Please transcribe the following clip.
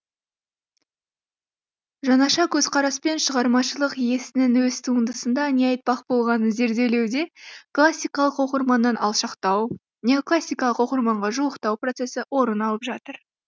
жаңаша көзқараспен шығармашылық иесінің өз туындысында не айтпақ болғанын зерделеуде классикалық оқырманнан алшақтау неоклассикалық оқырманға жуықтау процесі орын алып жатыр